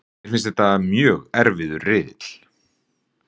Mér finnst þetta mjög erfiður riðill.